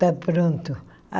Está pronto.